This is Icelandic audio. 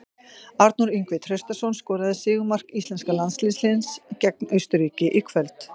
Arnór Ingvi Traustason skoraði sigurmark íslenska landsliðsins gegn Austurríki í kvöld.